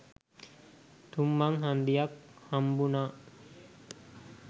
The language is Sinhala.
තුන් මං හන්දියක් හම්බුනා.